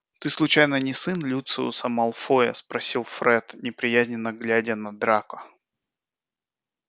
ты случайно не сын люциуса малфоя спросил фред неприязненно глядя на драко